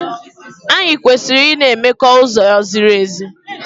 Anyị kwesịrị ị na-emekọ n'uzo ziri ezi.